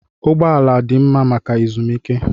Ụgbọ ala dị mma maka ezumike.